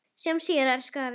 Sjáumst síðar, elsku afi.